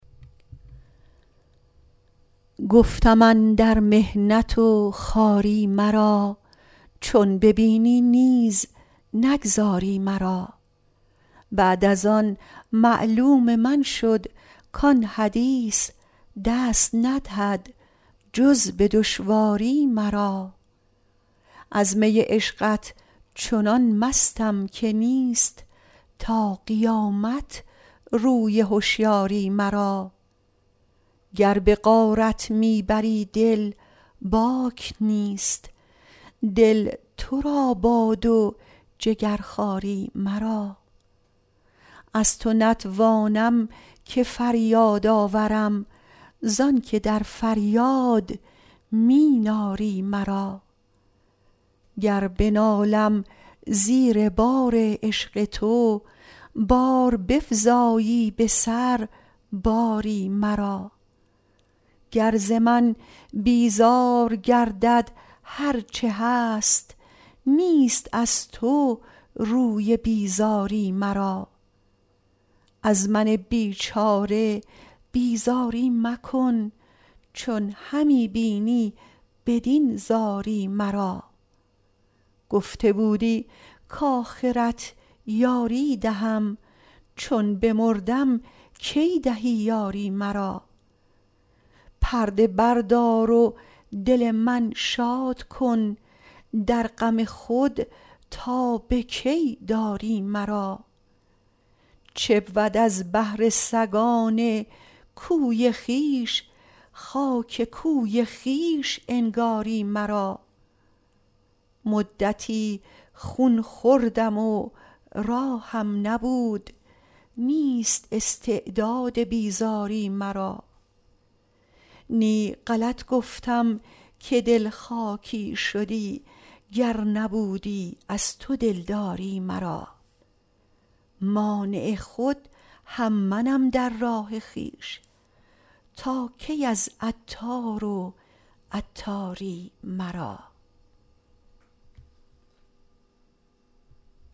گفتم اندر محنت و خواری مرا چون ببینی نیز نگذاری مرا بعد از آن معلوم من شد کان حدیث دست ندهد جز به دشواری مرا از می عشقت چنان مستم که نیست تا قیامت روی هشیاری مرا گر به غارت می بری دل باک نیست دل تو را باد و جگرخواری مرا از تو نتوانم که فریاد آورم زآنکه در فریاد می ناری مرا گر بنالم زیر بار عشق تو باز بفزایی به سر باری مرا گر زمن بیزار گردد هرچه هست نیست از تو روی بیزاری مرا از من بیچاره بیزاری مکن چون همی بینی بدین زاری مرا گفته بودی کاخرت یاری دهم چون بمردم کی دهی یاری مرا پرده بردار و دل من شاد کن در غم خود تا به کی داری مرا چبود از بهر سگان کوی خویش خاک کوی خویش انگاری مرا مدتی خون خوردم و راهم نبود نیست استعداد بیزاری مرا نی غلط گفتم که دل خاکی شدی گر نبودی از تو دلداری مرا مانع خود هم منم در راه خویش تا کی از عطار و عطاری مرا